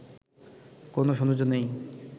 কোনো সৌন্দর্য নেই